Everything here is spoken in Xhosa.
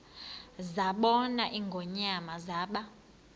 zabona ingonyama zaba